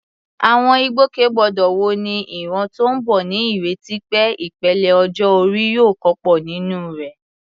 Àwọn ìgbòkègbodò wo ni ìran tó ń bọ̀ ní ìrètí pé ìpele ọjọ́ orí yóò kópa nínú rẹ̀?